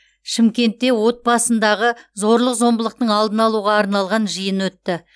шымкентте отбасындағы зорлық зомбылықтың алдын алуға арналған жиын өтті